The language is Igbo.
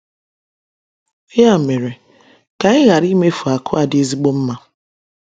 Ya mere, ka anyị ghara imefu akụ a dị ezigbo mma.